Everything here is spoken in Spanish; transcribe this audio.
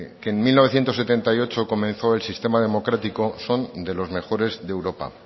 que el mil novecientos setenta y ocho comenzó el sistema democrático son de los mejores de europa